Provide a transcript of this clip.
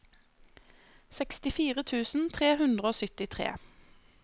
sekstifire tusen tre hundre og syttitre